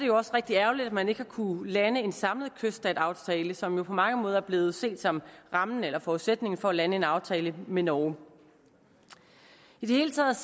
jo også rigtig ærgerligt at man ikke har kunnet lande en samlet kyststatsaftale som jo på mange måder er blevet set som rammen eller forudsætningen for at lande en aftale med norge i det hele taget